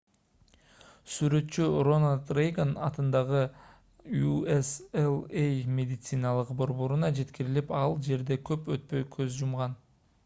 сүрөтчү рональд рейган атындагы ucla медициналык борборуна жеткирилип ал жерде көп өтпөй көз жумган